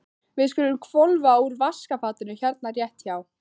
Við skulum hvolfa úr vaskafatinu hérna rétt hjá.